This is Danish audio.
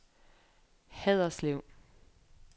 Haderslev